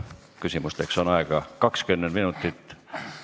Küsimusteks on aega 20 minutit.